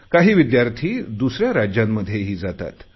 काही विद्यार्थी दुसऱ्या राज्यांमध्येही जातात